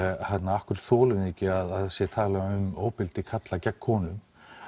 af hverju þolum við ekki að það sé talað um ofbeldi karla gegn konum